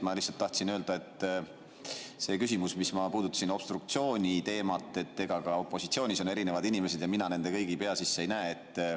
Ma lihtsalt tahtsin öelda, et selle küsimuse kohta, mida ma puudutasin, obstruktsiooniteema, et ka opositsioonis on erinevad inimesed ja mina nende kõigi pea sisse ei näe.